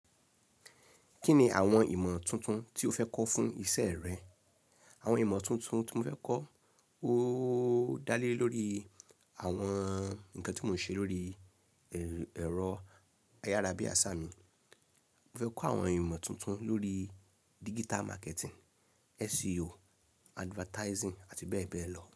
Kí ni àwọn ìmọ̀ tuntun tí o fẹ́ kọ́ fún isẹ́ rẹ? Àwọn ìmọ̀ tuntun tí mo fẹ́ kọ́, ó dá lé lórí àwọn nǹkan tí mò ń ṣe lórí ẹ̀rọ ayárabiasa mi. Mo fẹ́ kọ́ àwọn ìmọ̀ tuntun lórí digital marketing, SEO, advertising àti bẹ́ẹ̀ bẹ́ẹ̀ lọ.